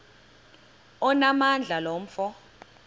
onamandla lo mfo